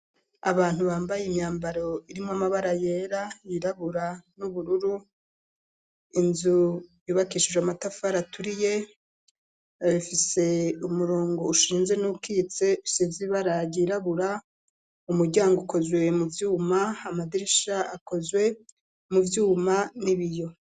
Abantu bambaye imyambaro irimwo amabara yera, yirabura n'ubururu. Inzu yubakishijwe amatafari aturiye afise umurongo ushinze n'uwukitse usize ibara ryirabura, umuryango ukozwe mu vyuma, amadirisha akozwe mu vyuma n'ibiyo.